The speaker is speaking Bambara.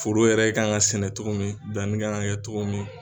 Foro yɛrɛ kan ka sɛnɛ togo min danni ka kan kɛ togo min.